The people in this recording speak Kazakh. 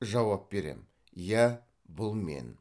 жауап берем иә бұл мен